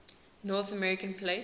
north american plate